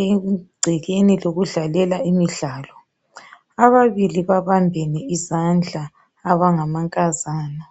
egcekeni lokudlalela imidlalo ababili babambene izandla abangama nkazana